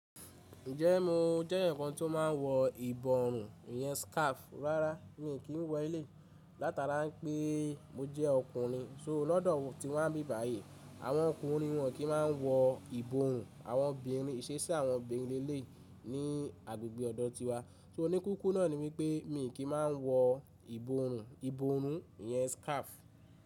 Ǹjẹ́ mo jẹ́ èyán ǹkan tí ó máa ń wọ ìbòrùn, ìyẹn scarf rárá, mi kì í wọ ilé yii látara pé mo jẹ ọkùnrin. So lọ́dọ̀ ti wa n bí báyìí àwọn ọkùnrin wọn kì í máa wọ ìbòrùn àwọn obìnrin ìṣeṣi àwọn obìnrin lé lèi ní agbègbè ọ̀dọ̀ tiwa. So oníkíkú náà ni wípé mi kì í má a wọ ìbòrùn, ìbòrùn ìyẹn scarf.